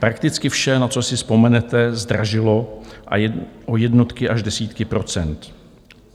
Prakticky vše, na co si vzpomenete, zdražilo o jednotky až desítky procent.